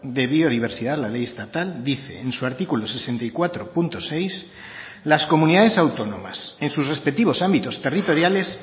de biodiversidad la ley estatal dice en su artículo sesenta y cuatro punto seis las comunidades autónomas en sus respectivos ámbitos territoriales